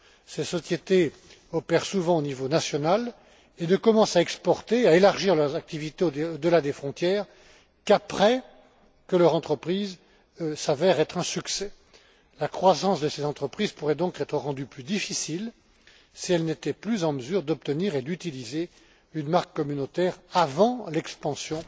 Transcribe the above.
Ces sociétés opèrent souvent au niveau national et ne commencent à exporter, à élargir leurs activités au delà des frontières qu'après que leur entreprise s'avère être un succès. La croissance de ces entreprises pourrait donc être rendue plus difficile si elles n'étaient plus en mesure d'obtenir et d'utiliser une marque communautaire avant l'expansion